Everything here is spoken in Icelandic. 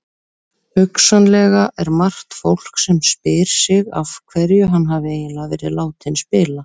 Hugsanlega er margt fólk sem spyr sig af hverju hann hafi eiginlega verið látinn spila?